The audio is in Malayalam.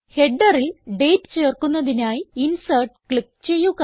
Headerൽ ഡേറ്റ് ചേർക്കുന്നതിനായി ഇൻസെർട്ട് ക്ലിക്ക് ചെയ്യുക